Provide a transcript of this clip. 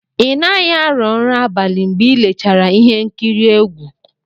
Ị naghị arọ nrọ abalị mgbe i lechara ihe nkiri egwu?